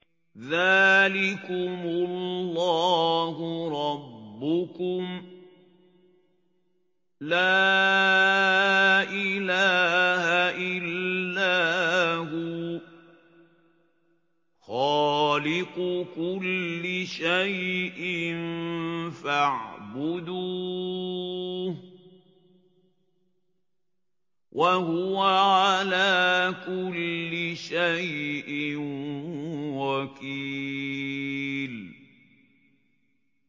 ذَٰلِكُمُ اللَّهُ رَبُّكُمْ ۖ لَا إِلَٰهَ إِلَّا هُوَ ۖ خَالِقُ كُلِّ شَيْءٍ فَاعْبُدُوهُ ۚ وَهُوَ عَلَىٰ كُلِّ شَيْءٍ وَكِيلٌ